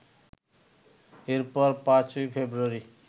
এরপর ৫ই ফেব্রুয়ারি